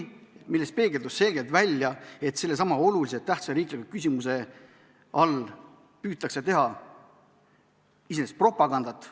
Sellest peegeldus selgelt välja, et sellesama oluliselt tähtsa riikliku küsimuse all püütakse teha iseenesest propagandat.